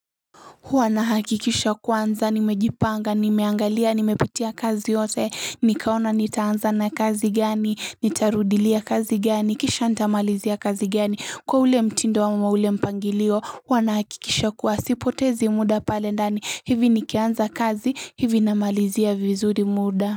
Huwa na hakikisha kwanza, nimejipanga, nimeangalia, nimepitia kazi yote, nikaona nitaanza na kazi gani, nitarudilia kazi gani, kisha nitamalizia kazi gani, kwa ule mtindo ama ule mpangilio, huwa na hakikisha kwa sipotezi muda pale ndani, hivi nikianza kazi, hivi namalizia vizuri muda.